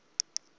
zaku yiva loo